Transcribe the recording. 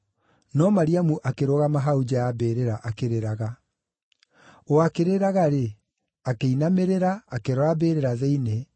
no Mariamu akĩrũgama hau nja ya mbĩrĩra akĩrĩraga. O akĩrĩraga-rĩ, akĩinamĩrĩra, akĩrora mbĩrĩra thĩinĩ,